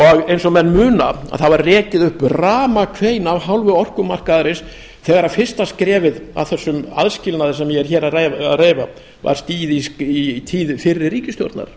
breyting eins og menn muna var rekið upp ramakvein af hálfu orkumarkaðarins þegar fyrsta skrefið að þessum aðskilnaði sem ég er hér að reifa var stigið í tíð fyrri ríkisstjórnar